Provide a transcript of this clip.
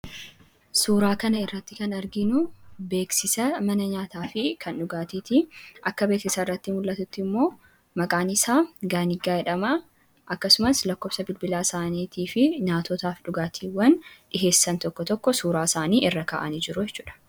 Suuraa kanarratti kan arginu beeksisa mana nyaataa fi dhugaatii akka beeksisarratti mul'atuttimmoo maqaan isaa Gaanigaa jedhama. Akkasumas lakkoofsa bilbilaa isaanii fi nyaatotaa fi dhugaatiiwwan dhiyeessan tokko tokko suuraa isaaniirra kaa'anii jiru.